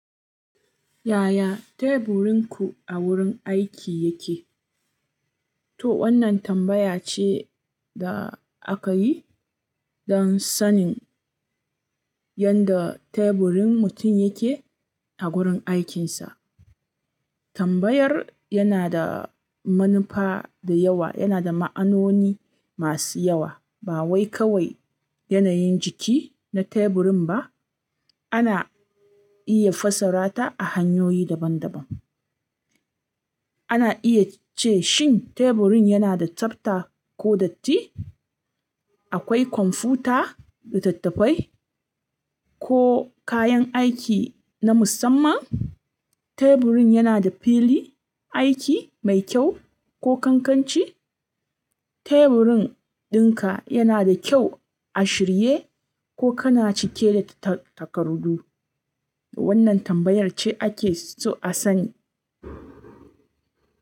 Yaya teburinku a wurin aiki yake? To wannan tambaya ce da aka yi don sanin yadda teburin mutum yake a gurin aikinsa. Tambayar yana da manufa da yawa, yana da ma'anoni masu yawa. Ba wai kawai yanayin jiki na teburin ba, ana iya fassara ta a hanyoyi daban-daban. Ana iya ce shin teburin yana da tsafta ko datti, akwai kwamfuta, littattafai ko kayan aiki na musamman. Teburin yana da fili aiki mai kyau ko ƙanƙanci? Teburin dinka yana da kyau a shirye ko kana cike da takardu? Wannan tambayar ce ake so a sani.